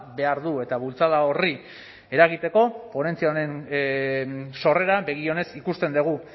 behar du eta bultzada horri eragiteko ponentzia honen sorrera begi onez ikusten dugu